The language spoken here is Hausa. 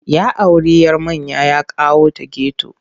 Ya auri 'yar manya ya kawo ta geto.